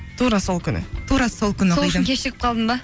тура сол күні тура сол күні кешігіп қалдың ба